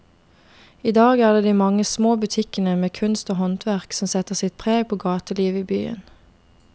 I dag er det de mange små butikkene med kunst og håndverk som setter sitt preg på gatelivet i byen.